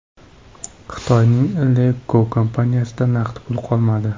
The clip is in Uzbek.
Xitoyning LeEco kompaniyasida naqd pul qolmadi.